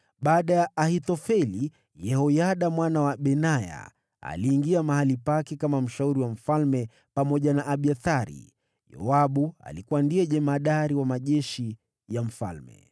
Baada ya Ahithofeli, Yehoyada mwana wa Benaya aliingia mahali pake kama mshauri wa mfalme pamoja na Abiathari. Yoabu alikuwa ndiye jemadari wa majeshi ya mfalme.